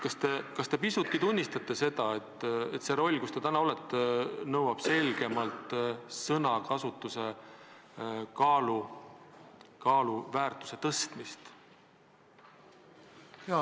Kas te pisutki tunnistate, et see roll, milles te täna olete, nõuab selgemalt sõnakasutuse kaalu ja väärtuse tõstmist?